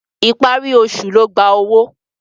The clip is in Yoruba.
Ìparí oṣù ló gba owó.